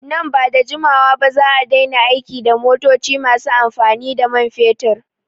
Nan bada jimawa ba za'a daina aiki da motoci masu amfani da man fetur